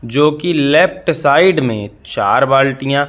जोकि left side में चार बाल्टियां--